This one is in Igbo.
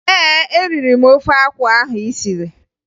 Ee, eriri m ofe akwụ ahụ ị siri